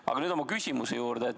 Aga nüüd mu küsimuse juurde.